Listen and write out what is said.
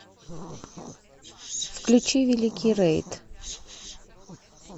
включи великий рейд